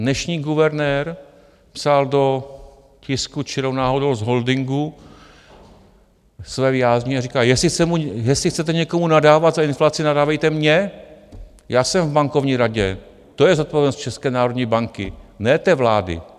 Dnešní guvernér psal do tisku čirou náhodou z holdingu své vyjádření a říká, jestli chcete někomu nadávat za inflaci, nadávejte mně, já jsem v Bankovní radě, to je zodpovědnost České národní banky, ne té vlády.